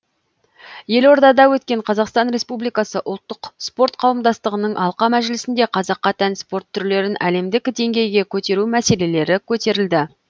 елордада өткен қазақстан республикасы ұлттық спорт қауымдастығының алқа мәжілісінде қазаққа тән спорт түрлерін әлемдік деңгейге көтеру мәселелері көтерілді